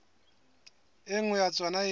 e nngwe ya tsona e